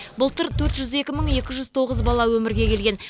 былтыр төрт жүз екі мың екі жүз тоғыз бала өмірге келген